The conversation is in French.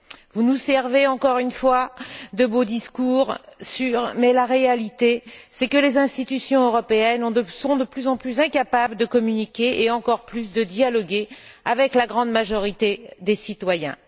Vous nous servez, encore une fois, de beaux discours mais la réalité, c'est que les institutions européennes sont de plus en plus incapables de communiquer et, encore plus, de dialoguer avec la grande majorité des citoyens.